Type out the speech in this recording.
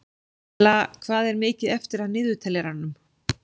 Bella, hvað er mikið eftir af niðurteljaranum?